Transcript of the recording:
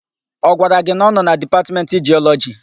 Ọ gwara gị na ọ nọ na Dipatmentị Jiọlọjị?